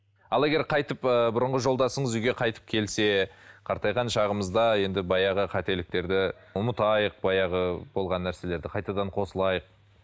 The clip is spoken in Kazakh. ал егер қайтып ыыы бұрынғы жолдасыңыз үйге қайтып келсе қартайған шағымызда енді баяғы қателіктерді ұмытайық баяғы болған нәрселерді қайтадан қосылайық